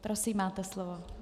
Prosím, máte slovo.